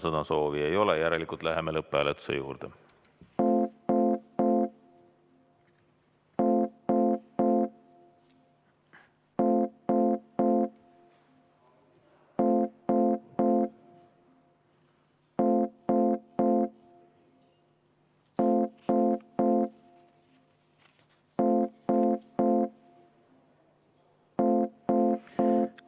Sõnasoovi ei ole, järelikult läheme lõpphääletuse juurde.